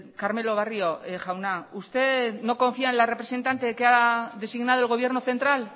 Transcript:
carmelo barrio jauna usted no confía en la representante que ha designado el gobierno central